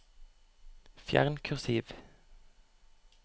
Fjern kursiv